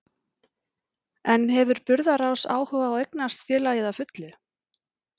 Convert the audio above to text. En hefur Burðarás áhuga á að eignast félagið að fullu?